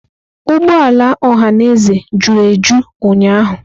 Ụgbọ ala ọhaneze juru eju ụnyahụ.